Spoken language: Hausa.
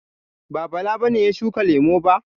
Ba, Bala ne ya shuka lemu ba?